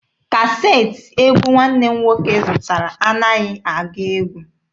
Kaseetị egwu nwanne m nwoke zụtara anaghị agụ egwu.